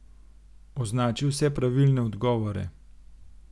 Označi vse pravilne odgovore.